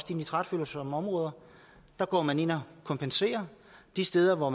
de nitratfølsomme områder går man ind og kompenserer de steder hvor